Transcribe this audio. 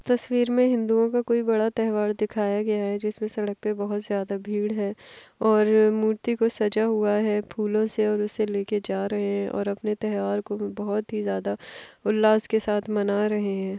तस्वीर में हिंदुओं का कोई बड़ा त्यौहार दिखाया गया है जिसमें सड़क पे बहुत ज्यादा भीड़ है और मूर्ति को सजा हुआ है फूलों से और उसे लेकर जा रहें हैं और अपने त्यौहार को बहुत ही ज्यादा उल्लास के साथ मना रहें हैं।